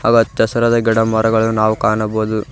ಹಾಗು ಹಚ್ಚಹಸಿರಾದ ಗಿಡಮರಗಳು ನಾವು ಕಾಣಬಹುದು.